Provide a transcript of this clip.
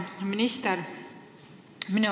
Hea minister!